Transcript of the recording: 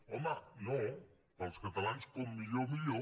home no per als catalans com millor millor